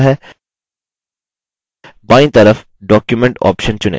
hyperlink dialog प्रदर्शित होता है